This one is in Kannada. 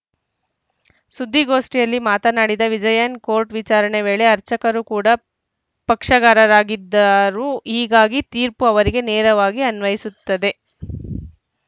ಸುದ್ದಿಗೋಷ್ಠಿಯಲ್ಲಿ ಮಾತನಾಡಿದ ವಿಜಯನ್‌ ಕೋರ್ಟ್‌ ವಿಚಾರಣೆ ವೇಳೆ ಅರ್ಚಕರು ಕೂಡ ಪಕ್ಷಗಾರರಾಗಿದ್ದರು ಹೀಗಾಗಿ ತೀರ್ಪು ಅವರಿಗೆ ನೇರವಾಗಿ ಅನ್ವಯಿಸುತ್ತದೆ